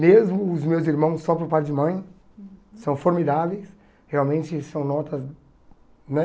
Mesmo os meus irmãos, só por pai de mãe, são formidáveis, realmente são notas, né?